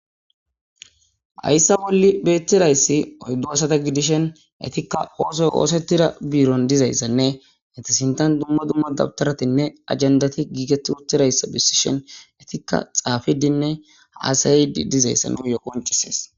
hayssa bolli beettirayssi oyddo asata gidishen etikka oosoy oosettira biiron dizayssanne itisintan dumma dumma dabtaratinne ajendati giiget uttirayssa bissishen etikka xaafidinne haasayidi dizayssan nuyo qoncisees